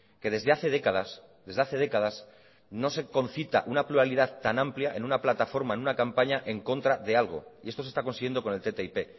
que desde hace décadas desde hace décadas no se concita una pluralidad tan amplia en una plataforma en una campaña en contra de algo y esto se está consiguiendo con el ttip